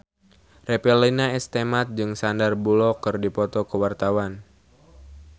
Revalina S. Temat jeung Sandar Bullock keur dipoto ku wartawan